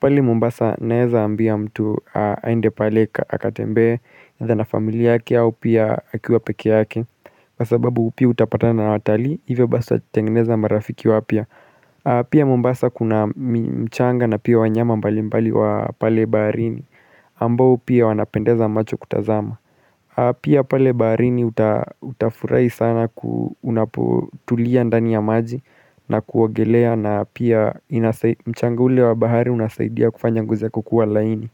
Pale Mombasa naeza ambia mtu aende pale akatembe adha na familia yake au pia akiwa peki haki Wasababu upi utapata na watali Iwe basa tengeneza marafiki wapia. Pia mumbasa kuna mchanga na pia wanyama mbali mbali wa pale baharini. Ambao pia wanapendeza macho kutazama. Pia pale baharini utafurai sana unapotulia ndani ya maji. Na kuogelea na pia mchanga ule wa bahari unasaidia kufanya ngozi kukuwa laini.